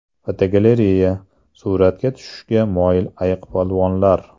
Fotogalereya: Suratga tushishga moyil ayiqpolvonlar.